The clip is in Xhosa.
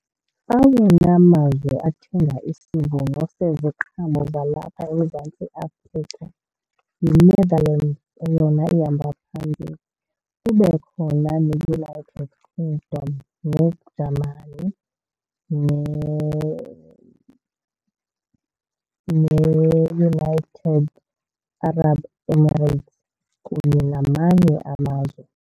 Awona mazwe athenga isivuno seziqhamo zalapha eMzantsi Afrika yiNetherlands eyona ihamba phambili, kube khona neUnited Kingdom, neGermany, neUnited Arab Emirates kunye namanye amazwe.